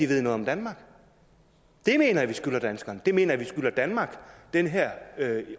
ved noget om danmark det mener jeg vi skylder danskerne det mener jeg vi skylder danmark den her